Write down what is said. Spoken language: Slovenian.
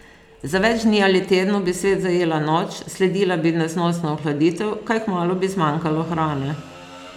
Za več dni ali tednov bi svet zajela noč, sledila bi neznosna ohladitev, kaj kmalu bi zmanjkalo hrane.